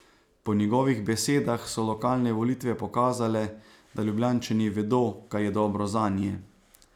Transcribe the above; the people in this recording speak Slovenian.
Po njegovih besedah so lokalne volitve pokazale, da Ljubljančani vedo, kaj je dobro zanje.